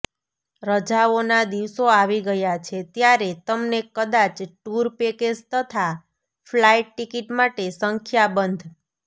રજાઓના દિવસો આવી ગયા છે ત્યારે તમને કદાચ ટૂર પેકેજ તથા ફ્લાઇટ ટિકિટ માટે સંખ્યાબંધ